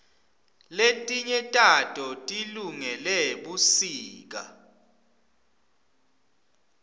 letinye tato tilungele busika